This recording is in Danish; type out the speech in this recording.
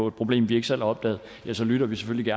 et problem vi ikke selv har opdaget så lytter vi selvfølgelig